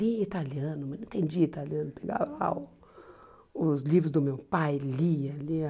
Lia italiano, mas não entendia italiano, pegava os livros do meu pai, lia, lia.